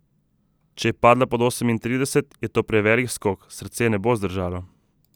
Če je padla pod osemintrideset, je to prevelik skok, srce ne bo zdržalo.